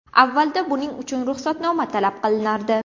Avvalda buning uchun ruxsatnoma talab qilinardi.